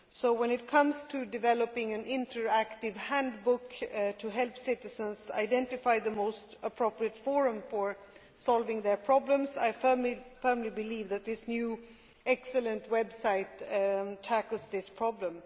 When it comes to developing an interactive handbook to help citizens identify the most appropriate forum for solving their problems, I firmly believe that this excellent new website tackles the problem.